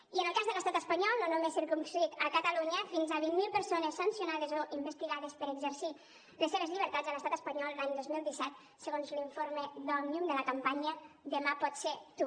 i en el cas de l’estat espanyol no només circumscrit a catalunya fins a vint mil persones sancionades o investigades per haver exercit les seves llibertats a l’estat espanyol l’any dos mil disset segons l’informe d’òmnium de la campanya demà pots ser tu